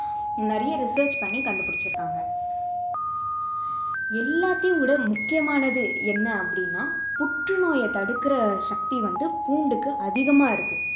நிறைய research பண்ணி கண்டு பிடிச்சிருக்காங்க எல்லாத்தையும் விட முக்கியமானது என்ன அப்படின்னா புற்றுநோய தடுக்கிற சக்தி வந்து பூண்டுக்கு அதிகமா இருக்கு